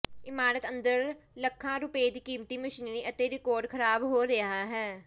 ਇਮਾਰਤ ਅੰਦਰ ਲੱਖਾਂ ਰੁਪਏ ਦੀ ਕੀਮਤੀ ਮਸ਼ੀਨਰੀ ਅਤੇ ਰਿਕਾਰਡ ਖਰਾਬ ਹੋ ਰਿਹਾ ਹੈ